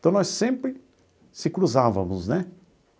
Então, nós sempre se cruzávamos, né?